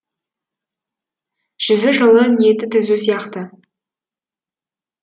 жүзі жылы ниеті түзу сияқты